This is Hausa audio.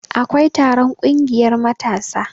akwai taron ƙungiyar matasa